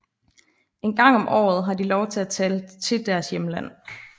En gang om året har de lov til at tage til deres hjemland